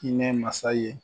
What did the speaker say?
Hinɛ masa ye